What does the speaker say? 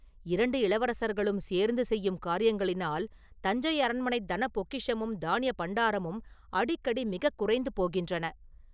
இரண்டு இளவரசர்களும் சேர்ந்து செய்யும் காரியங்களினால் தஞ்சை அரண்மனைத் தன பொக்கிஷமும் தானிய பண்டாரமும் அடிக்கடி மிகக் குறைந்து போகின்றன.